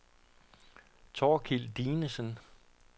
Thorkild Dinesen